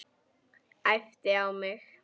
Æpti á mig.